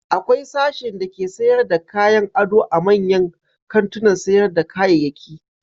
Akwai sashin dake sayar da kayan ado a manyan kantunan sayar da kayayyaki.